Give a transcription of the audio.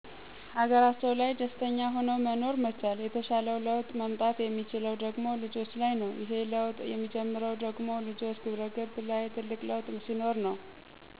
ሀገራቸው ላይ ደስተኛ ሁኖ መኖር መቻል። የተሻለው ለውጥ መምጣት ያለበት ደሞ ልጆች ላይ ነው። ይሄ ለውጥ የሚጀምረው ደሞ ልጆች ግብረገብ ላይ ትልቅ ለውጥ ሲኖር ነው።